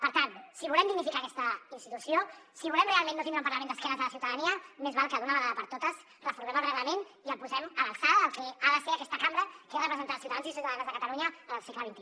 per tant si volem dignificar aquesta institució si volem realment no tindre un parlament d’esquena a la ciutadania més val que d’una vegada per totes reformem el reglament i el posem a l’alçada del que ha de ser aquesta cambra que és representar els ciutadans i ciutadanes de catalunya en el segle xxi